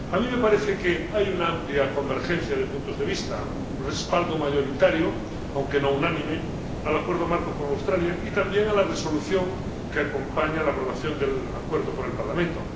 A mí me parece que hay una amplia convergencia de puntos de vista, un respaldo mayoritario, aunque no unánime, al Acuerdo Marco con Australia y también a la Resolución que acompaña la aprobación del Acuerdo por el Parlamento.